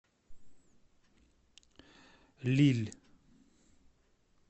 лилль